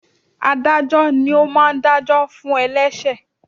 Ádájọ́ ni ó máa ń dá jọ fún ẹlẹṣẹ.